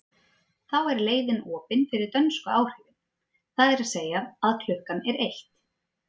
Þá er leiðin opin fyrir dönsku áhrifin, það er að segja að klukkan er eitt.